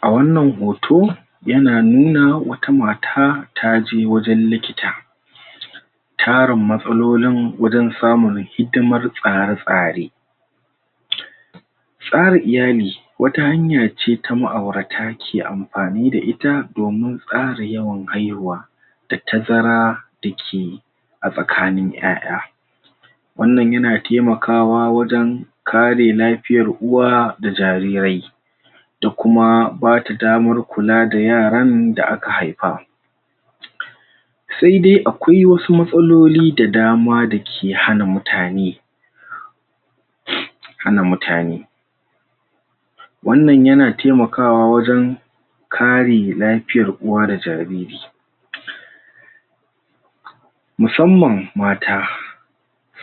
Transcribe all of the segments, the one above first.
A wannan hoto yana nuna wata mata taje wajen likita tarin matsalolin wajen samun hidimar tsare-tsare tsara iyali wata hanya ce ta ma'aurata ke amfani da ita domin tsara yawan haihuwa da tazara da ke a tsakanin ƴaƴa wannan yana taimakawa wajen kare lafiyar uwa da jarirai da kuma bada damar kula da yaran da aka haifa sai dai akwai wasu matsaloli da dama da ke hana mutane hana mutane wannan yana taimakawa wajen kare lafiyar uwa da jariri musamman mata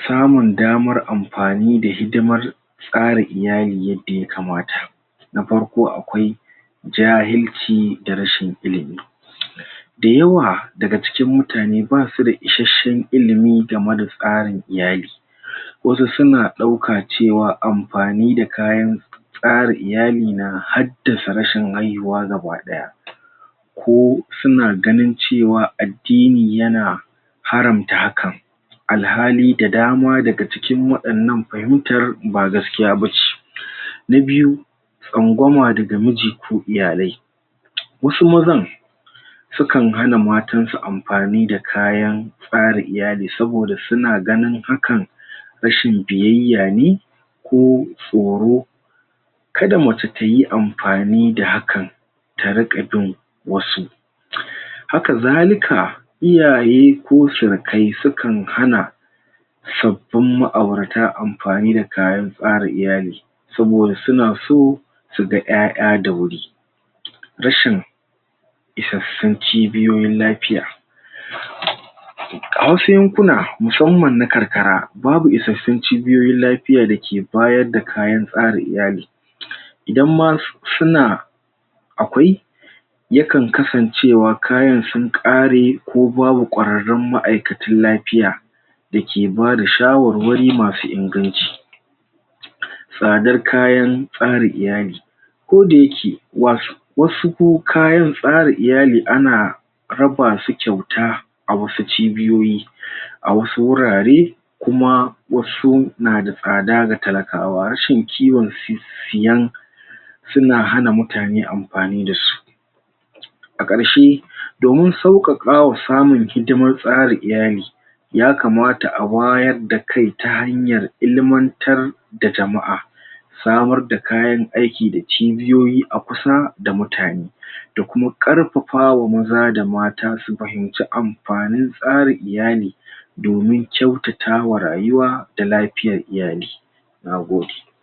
samun damar amfani da hidimar tsara iyali yadda yakamata na farko akwai jahilci da rashin ilimi da yawa daga cikin mutane basu da isashen ilimi game da tsarin iyali wasu suna ɗauka cewa amfani da kayan tsara iyali na haddasa rashin haihuwa gabaɗaya ko suna ganin cewa addini yana haramta hakan alhali da dama daga cikin waɗannan fahimtar ba gaskiya bace na biyu tsangwama daga miji ko iyalai wasu mazan sukan hana matan su amfani da kayan tsara iyali saboda suna ganin hakan rashin biyayya ne ko tsoro kada mace tayi amfani da hakan ta riƙa bin wasu haka zalika iyaye ko surukai su kan hana sabbin ma'aurata amfanin da kayan tsara iyali saboda suna so su ga ƴaƴa da wuri rashin isassun cibiyoyin lafiya a wasu yankuna musamman na karkara babu isassun cibiyoyin lafiya da ke bayar da kayan tsara iyali idan ma suna akwai yakan kasancewa kayan sun ƙare ko babu ƙwararrun ma'aikatan lafiya da ke bada shawarwari masu inganci tsadar kayan tsara iyali koda yake wasu ko kayan tsara iyali ana raba su kyauta a wasu cibiyoyi a wasu wurare kuma wasu na da tsada ga talakawa rashin ciwon siyan suna hana mutane amfani da su a ƙarshe domin sauƙaƙa wa samun hidimar tsara iyali yakamata a wayar da kai ta hanyar ilimantar da jama'a samar da kayan aiki da cibiyoyi a kusa da mutane da kuma ƙarfafa ma maza da mata su fahimci amfanin tsarin iyali domin kyautata wa rayuwa da lafiyar iyali Na gode.